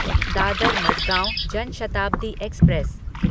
Dadar Madgaon Jan Shatabdi express